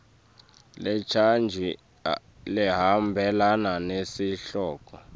lecanjiwe lehambelana nesihloko